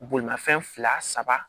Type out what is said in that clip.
Bolimafɛn fila saba